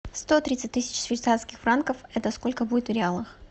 сто тридцать тысяч швейцарских франков это сколько будет в реалах